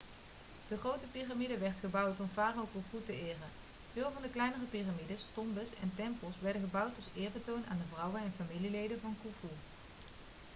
de grote piramide werd gebouwd om farao khufu te eren veel van de kleinere piramides tombes en tempels werden gebouwd als eerbetoon aan de vrouwen en familieleden van khufu